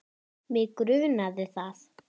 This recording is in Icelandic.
Að hella hann fullan.